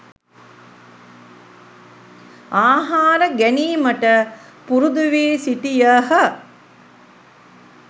ආහාර ගැනීමට පුරුදු වී සිටියහ.